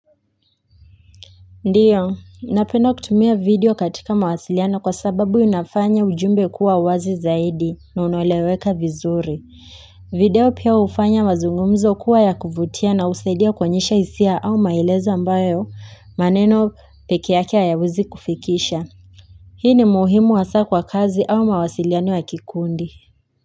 Ndiyo, napenda kutumia video katika mawasiliano kwa sababu unafanya ujumbe kuwa wazi zaidi na unaoleweka vizuri. Video pia hufanya mazungumzo kuwa ya kuvutia na husaidia kuonyesha hisia au maelezo ambayo maneno peke yake hayawezi kufikisha. Hii ni muhimu hassa kwa kazi au mawasiliano ya kikundi.